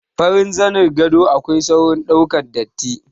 Farin zanin gado akwai saurin ɗaukar datti.